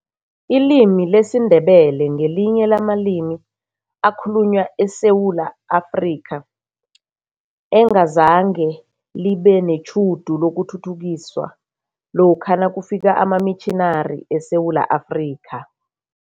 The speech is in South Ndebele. Ilimi lesiNdebele ngelinye lamalimi akhulunywa eSewula Afrika, engazange libe netjhudu lokuthuthukiswa lokha nakufika amamitjhinari eSewula Afrika.